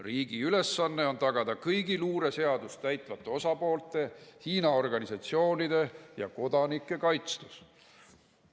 Riigi ülesanne on tagada kõigi luureseadust täitvate osapoolte, Hiina organisatsioonide ja kodanike kaitstus."